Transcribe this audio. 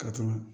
Ka tuma